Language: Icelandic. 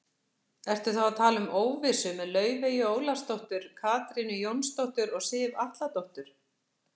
Ertu þá að tala um óvissu með Laufeyju Ólafsdóttur, Katrínu Jónsdóttur og Sif Atladóttur?